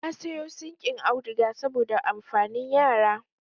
Na sayo sinƙin auduga saboda amfanin yara